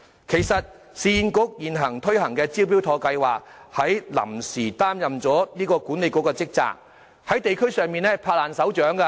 其實，市建局現正推行的"招標妥"計劃，已臨時擔任了這個管理局的職責，這計劃在地區上十分受歡迎。